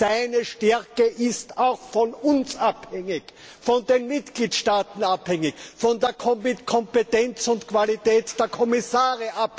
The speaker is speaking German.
Seine Stärke ist auch von uns abhängig, von den Mitgliedstaaten, von der Kompetenz und Qualität der Kommissare.